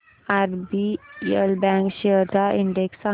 RBL bank shares चा index सांगा